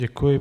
Děkuji.